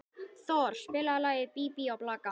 Thor, spilaðu lagið „Bí bí og blaka“.